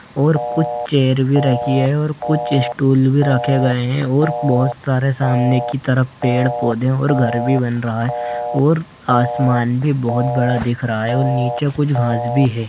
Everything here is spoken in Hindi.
और कुछ चेयर भी रखी है और कुछ स्टूल भी रखे गए हैं और बहुत सारे सामने की तरफ पेड़-पौधे और घर भी बन रहा है और आसमान भी बहुत बड़ा दिख रहा है और नीचे कुछ घास भी है।